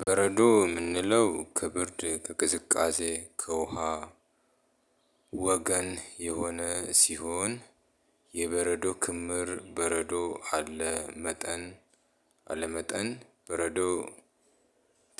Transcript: በረዶ የምንለው ከብርድ፣ ከቅዝቃዜ፣ ከውሃ ወገን የሆነ ሲሆን የበረዶ ክምር በረዶ አለ መጠን አለመጠን በረዶ